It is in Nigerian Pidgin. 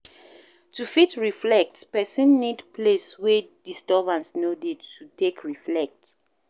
To fit reflect person need place wey disturbance no dey to take reflect